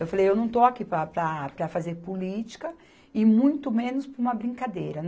Eu falei, eu não estou aqui para, para, para fazer política e muito menos para uma brincadeira.